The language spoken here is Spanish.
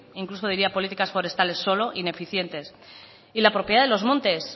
incluso diría políticas forestales solo ineficientes y la propiedad de los montes